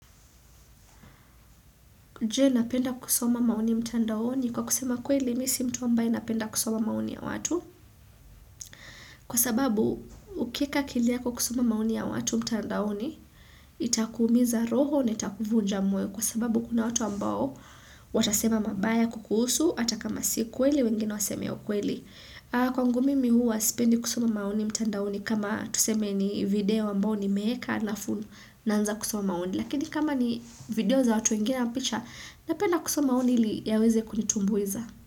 Je napenda kusoma maoni mtandaoni kwa kusema kweli mi si mtu ambaye anapenda kusoma maoni ya watu. Kwa sababu ukieka kilia kwa kusoma mauni ya watu mtandaoni itakumiza roho ni itakuvuja moyo kwa sababu kuna watu wambao watasema mabaya kukusu hata kama si kweli wengine wasemeo kweli. Kwa ngumi mihu wasipendi kusoma mauni mtandaoni kama tuseme ni video ambao ni mimeeka na fun naanza kusoma maoni. Lakini kama ni video za watu wengine na picha Napena kusoma maoni ili yawezekunitumbweza.